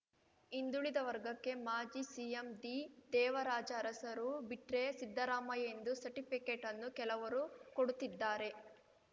ಹಿಂದುಳಿದ ವರ್ಗಕ್ಕೆ ಮಾಜಿ ಸಿಎಂ ದಿದೇವರಾಜ ಅರಸರು ಬಿಟ್ರೆ ಸಿದ್ದರಾಮಯ್ಯ ಎಂದು ಸರ್ಟಿಫಿಕೇಟ್‌ನ್ನು ಕೆಲವರು ಕೊಡುತ್ತಿದ್ದಾರೆ